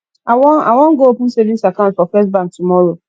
i wan i wan go open savings account for first bank tomorrow